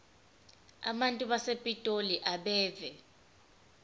abantu basepitoli abeve